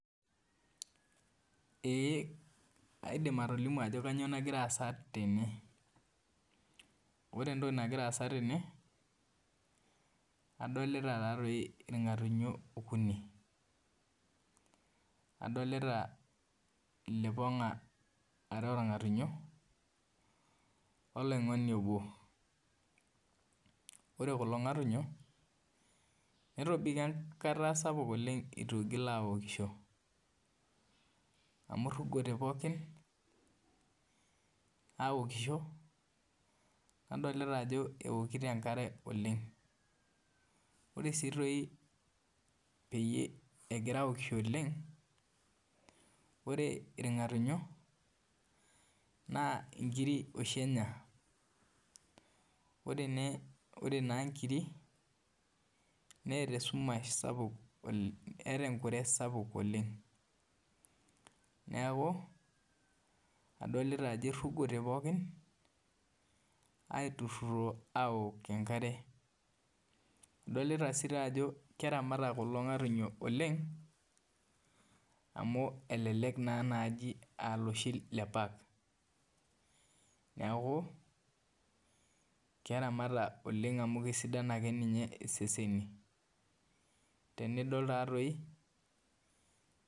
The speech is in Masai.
Ee aidim atolimu ajo kainyoo nagira aasa tene, ore entoki nagira aasa tene, adolita taa doi ilg'atunyo okuni, adolita ilipong'a uni oo lng'atunyo oloingoni obo, ore kulo ngatunyo, ijo dei ketasapuk oleng' eitu eitoki aokisho, amu eirugote pooki aokisho, nadolita ajo keokito enkare oleng'. Ore sii toi pee egira aokisho oleng' ore ilg'atunyo naa inkiri oshi Enya, ore naa inkiri neata esumash sapuk oleng' eata enkure sapuk oleng' neaku, adolita ajo eirugote pooki aok enkare. Adolita sii too ajo keramatitai keramata kulo ngatunyo oleng' amu elelek naa naaji aa ilooshi le park keramata oleng' amu kesidain ake iyie iseseni, tenidol taadoi.